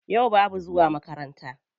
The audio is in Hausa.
Yau babu zuwa makaranta.